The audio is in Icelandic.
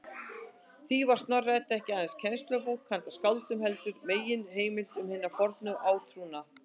Því var Snorra-Edda ekki aðeins kennslubók handa skáldum, heldur og meginheimild um hinn forna átrúnað.